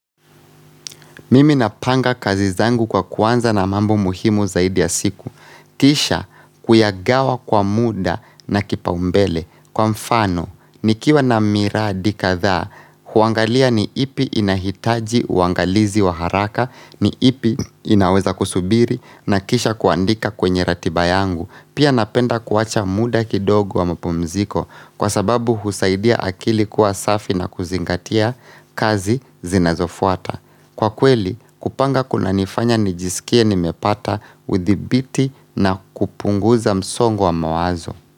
Mimi napanga kazi zangu kwa kuanza na mambo muhimu zaidi ya siku. Kisha kuyagawa kwa muda na kipaumbele. Kwa mfano, nikiwa na miradi kadhaa, huangalia ni ipi inahitaji uangalizi wa haraka, ni ipi inaweza kusubiri, na kisha kuandika kwenye ratiba yangu. Pia napenda kuwacha muda kidogo wa mapumziko kwa sababu husaidia akili kuwa safi na kuzingatia kazi zinazofuata. Kwa kweli, kupanga kunanifanya nijisikie nimepata udhibiti na kupunguza msongo wa mawazo.